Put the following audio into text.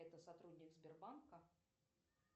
это сотрудник сбербанка